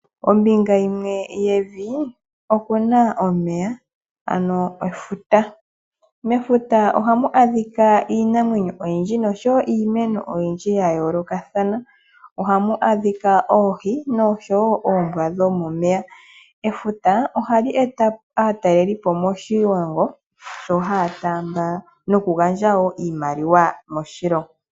Ombinga yimwe yevi opuna omeya ano efuta. Mefuta oha mu adhika iinamwenyo oyindji nosho woo iimeno oyindji ya yoolokathana, oha mu adhika oohi nosho woo oombwa dhomomeya. Efuta oha li eta aatalelipo moshilongo mbo haa taamba noku gandja woo iimaliwa moshilongo.